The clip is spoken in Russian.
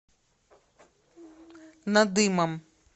надымом